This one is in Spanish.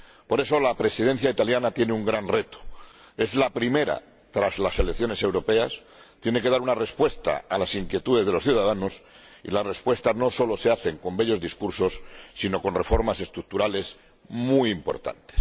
Por eso, la Presidencia italiana tiene un gran reto es la primera tras las elecciones europeas, tiene que dar una respuesta a las inquietudes de los ciudadanos, y las respuestas no solo se dan con bellos discursos, sino con reformas estructurales muy importantes.